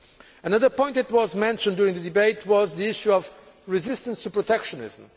Another point that was mentioned during the debate was the issue of resistance to protectionism.